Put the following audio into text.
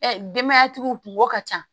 denbayatigiw kungo ka ca